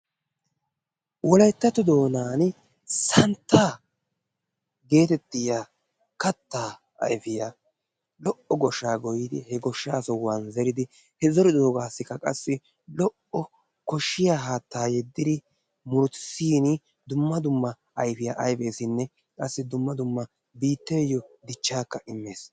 Wolayttatto doonan santta getettiyaa kattaa ayfiya lo''o goshsha goyyidi he goshshaa sohuwan zeretta zeridi he zeridoogassikka qassi lo''o koshshiyaa haatta yedidi murutissin dumma dumma ayfiya ayfessinne qassi biitteyo dumma dumma dichchakka immees.